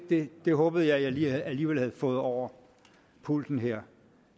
det det håbede jeg at jeg alligevel havde fået over pulten her